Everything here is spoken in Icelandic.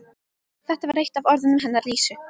Þetta var eitt af orðunum hennar Lísu.